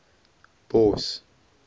bos